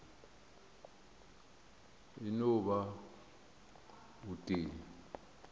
e no ba o tee